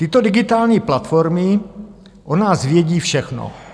Tyto digitální platformy o nás vědí všechno.